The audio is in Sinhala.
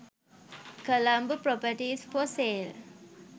colombo properties for sale